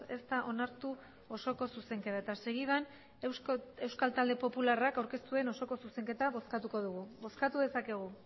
ez da onartu osoko zuzenketa eta segidan euskal talde popularrak aurkeztu duen osoko zuzenketa bozkatuko dugu bozkatu dezakegu